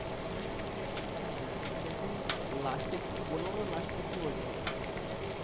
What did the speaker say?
আহ সেই দিন লাস্টে কি লাস্টে কি বলছিলাম ওখানে?